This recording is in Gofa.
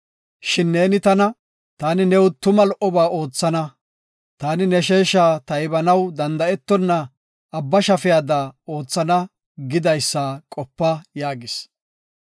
Shin neeni tana, ‘Taani new tuma lo77oba oothana. Taani ne sheesha taybanaw danda7etona abba shafeda oothana’ gidaysa qopa” yaagis.